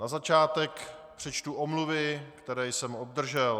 Na začátek přečtu omluvy, které jsem obdržel.